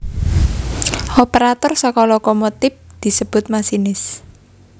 Operator saka lokomontip disebut masinis